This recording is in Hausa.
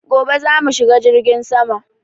Gobe za mu shiga jirgin sama